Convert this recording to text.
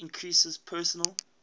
heater increases personal